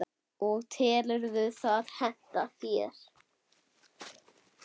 og telurðu það henta þér?